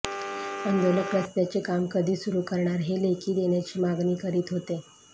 आंदोलक रस्त्याचे काम कधी सुरु करणार हे लेखी देण्याची मागणी करीत होते